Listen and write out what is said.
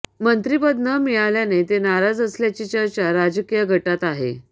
मंत्रिपद न मिळाल्याने ते नाराज असल्याची चर्चा राजकीय गोटात आहे